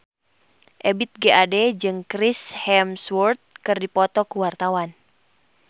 Ebith G. Ade jeung Chris Hemsworth keur dipoto ku wartawan